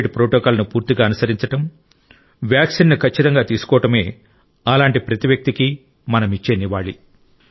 Covid ప్రోటోకాల్ను పూర్తిగా అనుసరించడం వ్యాక్సిన్ను ఖచ్చితంగా తీసుకోవడమే అలాంటి ప్రతి వ్యక్తికి మనమిచ్చే నివాళి